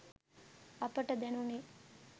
අපට දැනුනේ